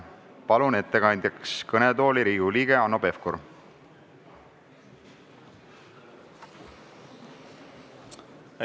Palun ettekandjaks kõnetooli Riigikogu liikme Hanno Pevkuri!